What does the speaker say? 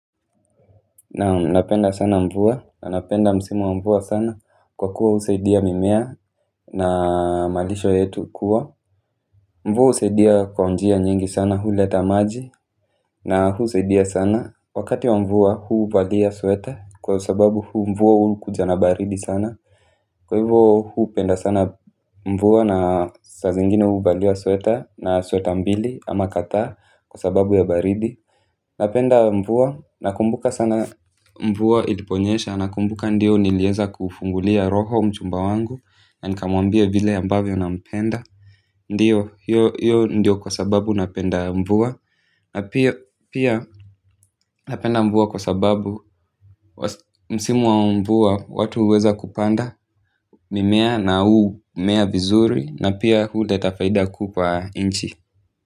Naam, napenda sana mvua na napenda msimu wa mvua sana kwa kuwa husaidia mimea na malisho yetu kuwa mvua husaidia kwa njia nyingi sana huleta maji na husaidia sana wakati wa mvua, huvalia sweta kwa sababu mvua huja na baridi sana. Kwa hivyo, hupenda sana mvua na saa zingine huvalia sweta moja ama mbili kwa sababu ya baridi. Napenda mvua nakumbuka sana mvua iliponyesha, nakumbuka ndiyo nilianza kumfungulia roho mchumba wangu na nikamwambia vile ambavyo nampenda. Ndiyo, hiyo ndiyo sababu napenda mvua. Na pia napenda mvua kwa sababu msimu wa mvua watu huweza kupanda mimea na humea vizuri na pia huleta faida kuu kwa nchi.